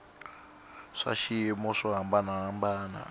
swa swiyimo swo hambana hambana